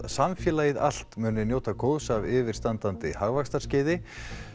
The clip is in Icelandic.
samfélagið allt muni njóta góðs af yfirstandandi hagvaxtarskeiði